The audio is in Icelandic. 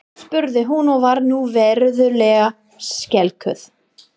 spurði hún og var nú verulega skelkuð.